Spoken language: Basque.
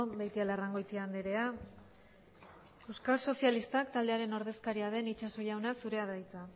beitialarrangoitia andrea euskal sozialistak taldearen ordezkariak den itxaso jauna zurea da hitza